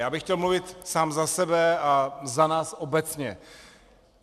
Já bych chtěl mluvit sám za sebe a za nás obecně.